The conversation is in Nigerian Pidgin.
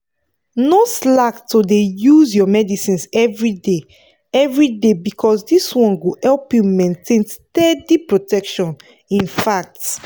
no slack to dey use your medicines everyday everyday because this one go help you maintain steady protection infact.